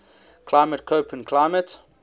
climate koppen climate